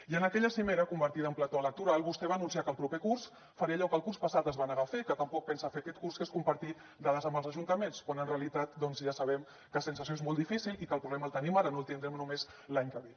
i en aquella cimera convertida en plató electoral vostè va anunciar que el proper curs farà allò que el curs passat es va negar a fer que tampoc pensa fer aquest curs que és compartir dades amb els ajuntaments quan en realitat ja sabem que sense això és molt difícil i que el problema el tenim ara no el tindrem només l’any que ve